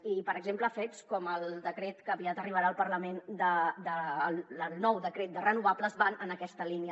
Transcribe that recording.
i per exemple fets com el decret que aviat arribarà al parlament el nou decret de renovables van en aquesta línia